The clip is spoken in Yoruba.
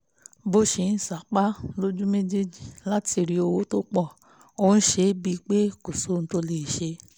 bó ṣe ń sapá lójú méjèèjì láti rí owó tó pọ̀ ó ń ṣe é bíi pé kò sóhun tó lè ṣe